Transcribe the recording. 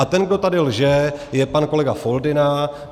A ten, kdo tady lže, je pan kolega Foldyna.